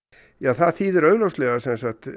það þýðir augljóslega